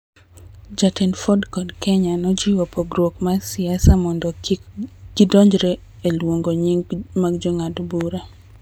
Jatend Ford kod Kenya nojiwo pogruok mar siasa mondo kik gidonjre e luongo nying� mag jong'ad bura.